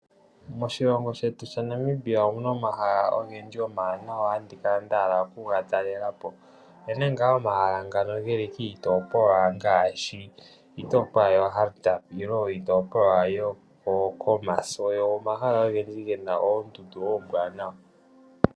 Moshilongo shetu omuna omahala ogendji omawanawa, naantu oyendji ohaya kala yahala okuga talelapo. Ogeli kiitopolwa ngaashi oHardap noshowo koKhomas, oko unene kuna omahala gena oondundu ombwaanawa.